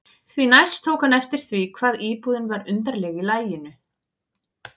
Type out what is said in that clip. Því næst tók hann eftir því hvað íbúðin var undarleg í laginu.